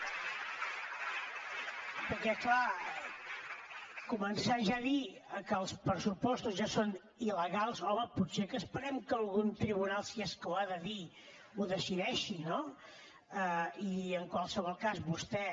perquè clar començar ja a dir que els pressupostos ja són il·legals home potser que esperem que algun tribunal si és que ho ha de dir ho decideixi no i en qualsevol cas vostè